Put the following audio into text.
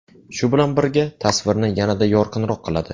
Shu bilan birga, tasvirni yanada yorqinroq qiladi.